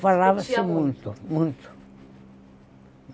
Falava-se muito, muito.